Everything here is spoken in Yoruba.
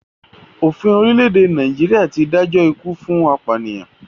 Òfin orílẹ̀-èdè Nàìjíríà ti dájọ́ ikú fún apànìyàn.